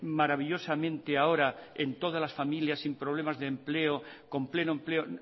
maravillosamente ahora en todas las familias sin problemas de empleo con pleno empleo